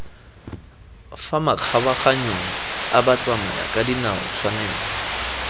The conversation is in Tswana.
fa makgabaganyong a batsamayakadinao tshwanelo